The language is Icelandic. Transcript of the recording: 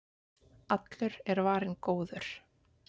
Allur er varinn góður